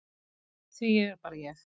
Því ég er bara ég.